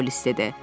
polis dedi.